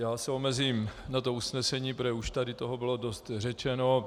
Já se omezím na to usnesení, protože už tady toho bylo dost řečeno.